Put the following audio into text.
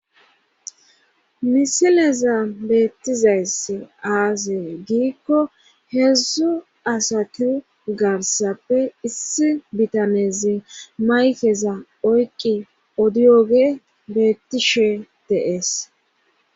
misileza beettizayss aasee giikko heedzdzu asatu garsappe issi bitanezi maykeza oyqi odiyooge beettishe deees